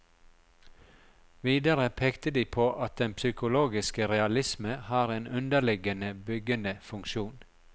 Videre pekte de på at den psykologiske realisme har en underliggende byggende funksjon.